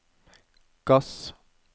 gass